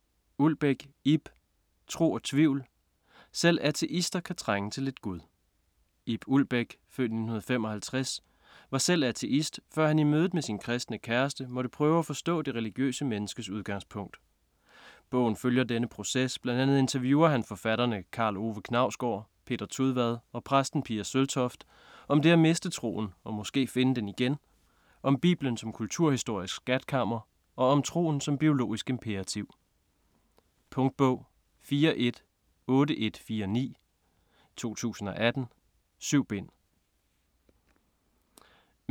Ulbæk, Ib: Tro og tvivl: selv ateister kan trænge til lidt gud Ib Ulbæk (f. 1955) var selv ateist, før han i mødet med sin kristne kæreste, måtte prøve at forstå det religiøse menneskes udgangspunkt. Bogen følger denne proces, bl.a. interviewer han forfatterne Karl Ove Knausgård, Peter Tudvad og præsten Pia Søltoft, om det at miste troen og (måske) finde den igen, om bibelen som kulturhistorisk skatkammer og om troen som biologisk imperativ. Punktbog 418149 2018. 7 bind.